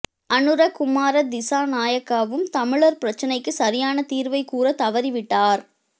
அனுரகுமார திசாநாயக்காவும் தமிழர் பிரச்சினைக்கு சரியான தீர்வைக் கூற தவறிவிட்டார்